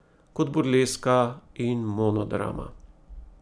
Kot burleska in monodrama.